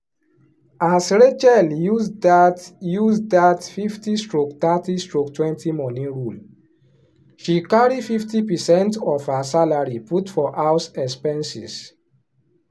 as rachel use that use that 50/30/20 money rule she carry fifty percent of her salary put for house expenses.